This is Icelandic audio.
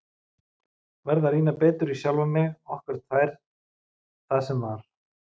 Verð að rýna betur í sjálfa mig, okkur tvær, það sem var.